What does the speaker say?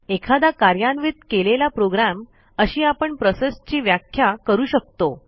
एखादा कार्यान्वित केलेला प्रोग्रॅम अशी आपण प्रोसेसची व्याख्या करू शकतो